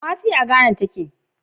Kumasi je in Ghana